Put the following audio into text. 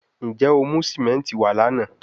Njẹ o mu simenti wa lana?